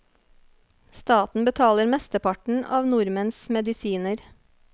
Staten betaler mesteparten av nordmenns medisiner.